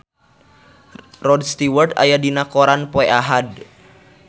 Rod Stewart aya dina koran poe Ahad